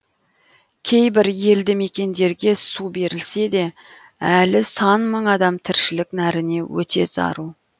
кейбір елді мекендерге су берілсе де әлі сан мың адам тіршілік нәріне өте зәру